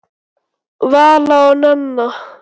Vala og Nanna.